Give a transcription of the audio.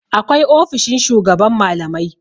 Akwai ofishin shugaban malamai.